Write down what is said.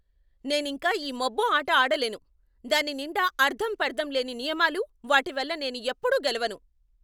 నేనింక ఈ మబ్బు ఆట ఆడలేను. దాని నిండా అర్ధంపర్ధం లేని నియమాలు, వాటి వల్ల నేను ఎప్పుడూ గెలవను.